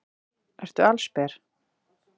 Ertu allsber?